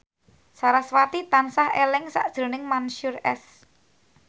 sarasvati tansah eling sakjroning Mansyur S